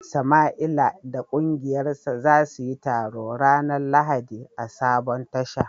Samaila da kungiyarsa za su yi taro ranar Lahadi a sabon Tasha